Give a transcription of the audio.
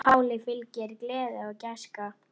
Páli fylgir gleði og gæska.